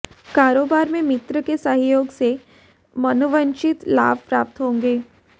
कारोबार में मित्र के सहयोग से मनोवांछित लाभ प्राप्त होंगे